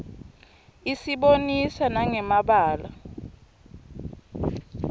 isibonisa nanqe mabalaue